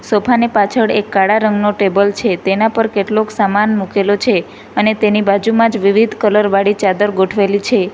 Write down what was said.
Sofa ની પાછળ એક કાળા રંગનો ટેબલ છે તેના પર કેટલુંક સામાન મુકેલું છે અને તેની બાજુમાંજ વિવિધ કલર વાડી ચાદર ગોઠવેલી છે.